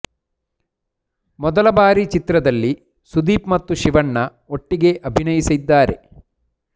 ಮೊದಲ ಬಾರಿ ಚಿತ್ರದಲ್ಲಿ ಸುದೀಪ್ ಮತ್ತು ಶಿವಣ್ಣ ಒಟ್ಟಿಗೆ ಅಭಿನಯಿಸಿದ್ದಾರೆ